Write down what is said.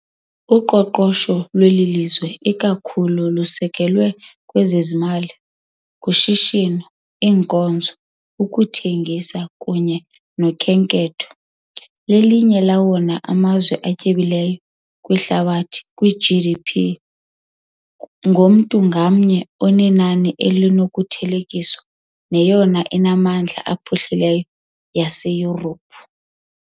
Uqoqosho lweli lizwe ikakhulu lusekelwe kwezemali, kushishino, iinkonzo, ukuthengisa kunye nokhenketho . Lelinye lawona mazwe atyebileyo kwihlabathi kwi -GDP ngomntu ngamnye, enenani elinokuthelekiswa neyona mimandla iphuhlileyo yaseYurophu.